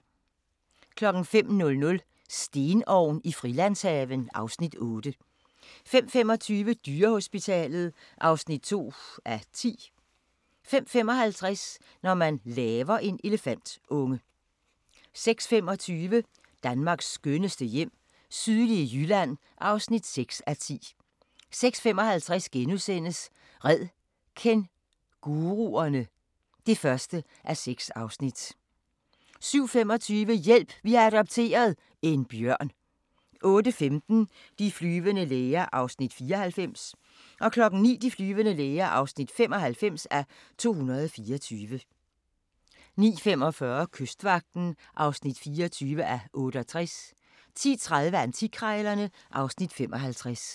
05:00: Stenovn i Frilandshaven (Afs. 8) 05:25: Dyrehospitalet (2:10) 05:55: Når man laver en elefantunge 06:25: Danmarks skønneste hjem - sydlige Jylland (6:10) 06:55: Red kænguruerne! (1:6)* 07:25: Hjælp! Vi har adopteret – en bjørn 08:15: De flyvende læger (94:224) 09:00: De flyvende læger (95:224) 09:45: Kystvagten (24:68) 10:30: Antikkrejlerne (Afs. 55)